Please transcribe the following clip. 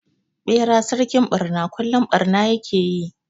Ɓera sarkin ɓarna kullum barna ya ke yi.